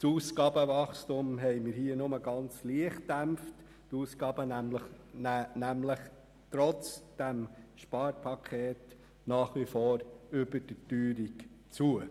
Das Ausgabenwachstum haben wir nur sehr wenig gedämpft, die Ausgaben nehmen nämlich trotz dieses Sparpakets nach wie vor über der Teuerung zu.